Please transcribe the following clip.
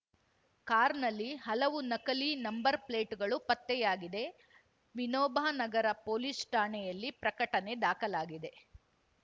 ಕಾರ್‌ನಲ್ಲಿ ಹಲವು ನಕಲಿ ನಂಬರ್‌ ಪ್ಲೇಟ್‌ಗಳು ಪತ್ತೆಯಾಗಿವೆ ವಿನೋಬ ನಗರ ಪೊಲೀಸ್‌ ಠಾಣೆಯಲ್ಲಿ ಪ್ರಕಠಣೆ ದಾಖಲಾಗಿದೆ